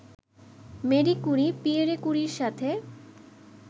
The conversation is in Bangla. মারি ক্যুরি, পিয়েরে কুরির সাথে